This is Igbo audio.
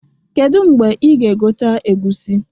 Kedu mgbe ị ga-egote egusi?